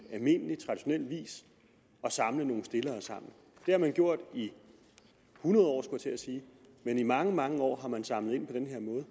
almindelig traditionel vis at samle nogle stillere sammen det har man gjort i hundrede år skulle jeg til at sige i mange mange år har man samlet ind på den her måde